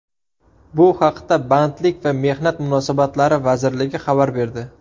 Bu haqda Bandlik va mehnat munosabatlari vazirligi xabar berdi.